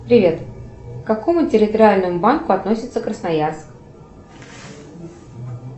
привет к какому территориальному банку относится красноярск